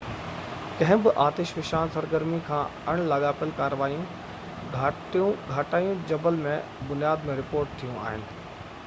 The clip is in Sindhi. ڪنهن به آتش فشان سرگرمي کان اڻ لاڳاپيل ڪاريون گهٽائون جبل جي بنياد ۾ رپورٽ ٿيون آهن